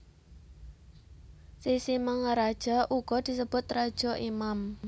Sisingamaraja uga disebut raja imam